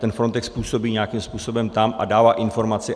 Ten Frontex působí nějakým způsobem tam a dává informaci.